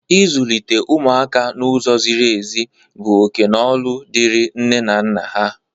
Izulite ụmụaka n'ụzọ zịrị ezi bụ oke na ọlụ dịri nne na nna ha.